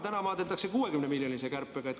Täna maadeldakse 60-miljonilise kärpega.